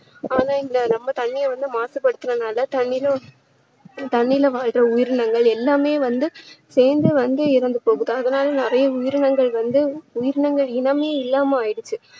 ஆனா இந்த நம்ம தண்ணீரை வந்து மாசுபடுத்துனதுனால தண்ணீயில தண்ணீயில வாழுற உயிரினங்கள் எல்லாமே வந்து சேர்ந்து வந்து இறந்து போகுது அதனால நிறைய உயிரினங்கள் வந்து உயிரினங்கள் இனமே இல்லாம ஆகிடுச்சு